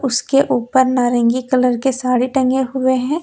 इसके ऊपर नारंगी कलर के साड़ी टंगे हुए है।